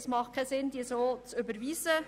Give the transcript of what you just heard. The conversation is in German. Es hat keinen Sinn, diese so zu überwiesen.